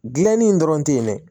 Gilanni dɔrɔn te yen dɛ